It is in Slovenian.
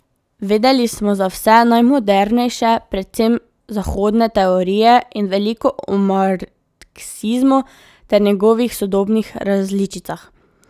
Vedeli smo za vse najmodernejše, predvsem zahodne teorije, in veliko o marksizmu ter njegovih sodobnih različicah.